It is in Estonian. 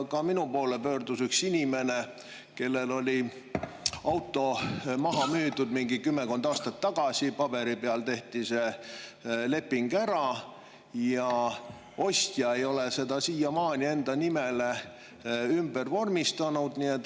Ka minu poole pöördus üks inimene, kellel oli auto maha müüdud kümmekond aastat tagasi, paberi peal tehti see leping ära, aga ostja ei ole seda siiamaani enda nimele ümber vormistanud.